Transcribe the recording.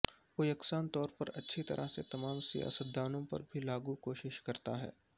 وہ یکساں طور پر اچھی طرح سے تمام سیاستدانوں پر بھی لاگو کوشش کرتا ہے